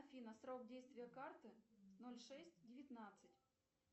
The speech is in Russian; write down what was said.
афина срок действия карты ноль шесть девятнадцать